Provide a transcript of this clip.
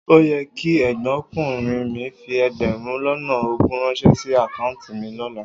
O yẹ kí ẹ̀gbọ́nkùnrin mi fi ẹgbẹ̀rún lọ́nà ogún ránṣẹ́ sí àkáùntì mi lọ́la.